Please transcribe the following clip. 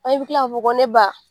An bɛ tila k'a fɔ ko ne ba